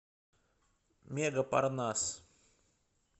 мега парнас